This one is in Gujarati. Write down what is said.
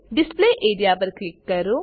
ડિસ્પ્લે એઆરઇએ પર ક્લિક કરો